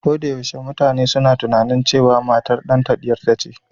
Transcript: Ko da yaushe mutane suna tunanin cewa matar ɗanta ɗiyarta ce